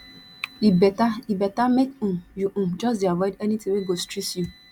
e beta e beta make um you um just dey avoid anytin wey go strss you